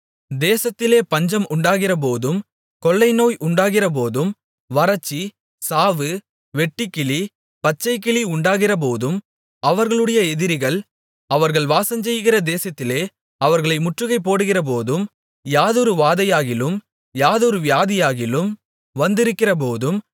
தேசத்திலே பஞ்சம் உண்டாகிறபோதும் கொள்ளைநோய் உண்டாகிறபோதும் வறட்சி சாவு வெட்டுக்கிளி பச்சைக்கிளி உண்டாகிறபோதும் அவர்களுடைய எதிரிகள் அவர்கள் வாசஞ்செய்கிற தேசத்திலே அவர்களை முற்றுகை போடுகிறபோதும் யாதொரு வாதையாகிலும் யாதொரு வியாதியாகிலும் வந்திருக்கிறபோதும்